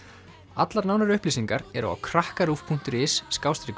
allar nánari upplýsingar eru á krakkaruv punktur is